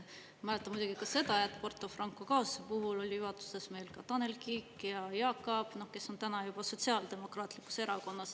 Ma mäletan muidugi ka seda, et Porto Franco kaasuse puhul oli juhatustes meil ka Tanel Kiik ja Jaak Aab, kes on täna juba Sotsiaaldemokraatlikus Erakonnas.